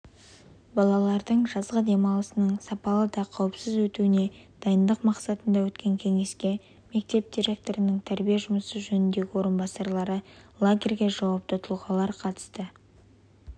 балалардың жазғы демалысының сапалы да қауіпсіз өтуіне дайындық мақсатында өткен кеңеске мектеп директорының тәрбие жұмысы жөніндегі орынбасары лагерьге жауапты тұлғалар қатысты